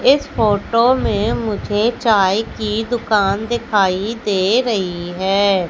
इस फोटो में मुझे चाय की दुकान दिखाई दे रही है।